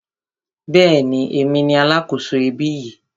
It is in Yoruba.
Bẹ́ẹ̀ni, èmi ni alákòso ibí yìí.